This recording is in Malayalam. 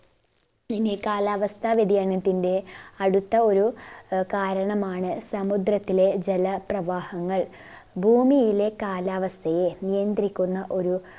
ഇനി കാലാവസ്ഥ വ്യതിയാനത്തിന്റെ അടുത്ത ഒരു ആഹ് കാരണമാണ് സമുദ്രത്തിലെ ജല പ്രവാഹങ്ങൾ ഭൂമിയിലെ കാലാവസ്ഥയെ നിയന്ത്രിക്കുന്ന ഒരു